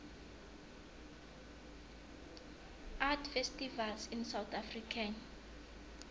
art festivals in south african